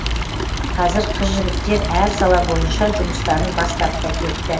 қазір қыз жігіттер әр сала бойынша жұмыстарын бастап та кетті